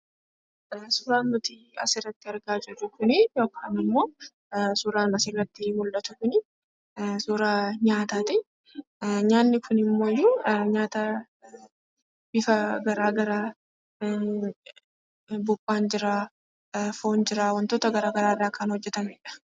Suuraan asirratti nuti argaa jirru kun suuraa nyaataati. Nyaatni kunimmoo nyaata bifa garaagaraati. Buphaan jira, foon jira wantoota garaagaraa irraa kan hojjatamedha.